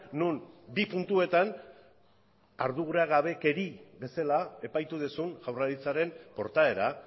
non bi puntuetan arduragabekeria bezala epaitu duzun jaurlaritzaren portaera